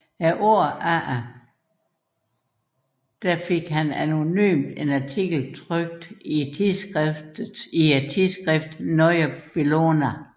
Året efter lod han anonymt en artikel trykke i tidsskriftet Neue Bellona